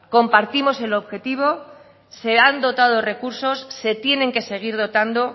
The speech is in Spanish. compartimos el objetivo se han dotado recursos se tienen que seguir dotando